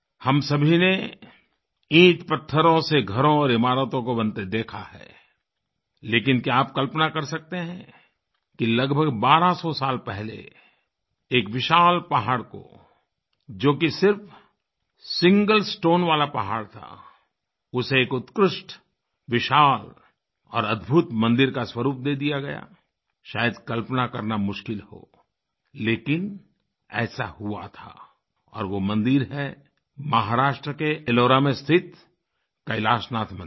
हम सभी ने ईंटपत्थरों से घरों और ईमारतों को बनते देखा है लेकिन क्या आप कल्पना कर सकते हैं कि लगभग बारहसौ साल पहले एक विशाल पहाड़ को जो कि सिर्फ सिंगल स्टोन वाला पहाड़ था उसे एक उत्कृष्ट विशाल और अद्भुत मंदिर का स्वरूप दे दिया गया शायद कल्पना करना मुश्किल होलेकिन ऐसा हुआ थाऔर वो मंदिर हैमहाराष्ट्र के एलोरा में स्थित कैलाशनाथ मंदिर